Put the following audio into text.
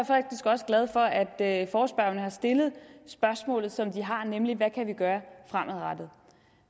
faktisk også glad for at at forespørgerne har stillet spørgsmålet som de har nemlig hvad kan vi gøre fremadrettet